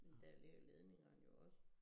Men der ligger ledningerne jo også